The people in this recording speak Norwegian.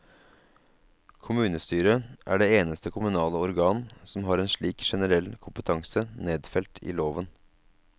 Kommunestyret er det eneste kommunale organ som har slik generell kompetanse nedfelt i loven.